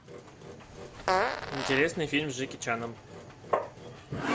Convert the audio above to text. интересный фильм с джеки чаном